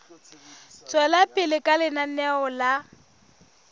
tswela pele ka lenaneo la